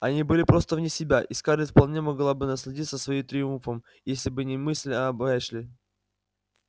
они были просто вне себя и скарлетт вполне могла бы насладиться своим триумфом если бы не мысль об эшли